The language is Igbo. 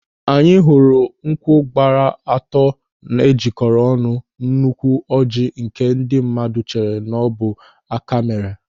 Anyị hụrụ nkwụ gbara atọ e jikọrọ ọnụ n'úkwù ọjịị nke ndị mmadụ chere n'ọbụ áká mere.